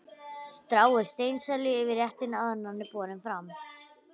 Stráið steinselju yfir réttinn áður en hann er borinn fram.